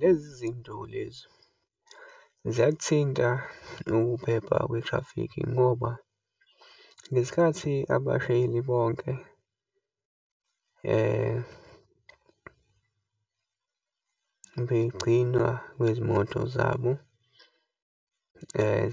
Lezi zinto lezo ziyakuthinta ukuphepha kwethrafikhi, ngoba ngesikhathi abashayeli bonke begcinwa kwezimoto zabo